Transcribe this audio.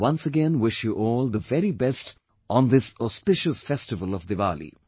I once again wish you all the very best on this auspicious festival of Diwali